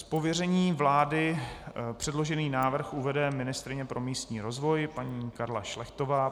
Z pověření vlády předložený návrh uvede ministryně pro místní rozvoj paní Karla Šlechtová.